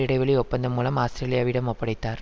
இடைவெளி ஒப்பந்தம் மூலம் ஆஸ்திரேலியாவிடம் ஒப்படைத்தார்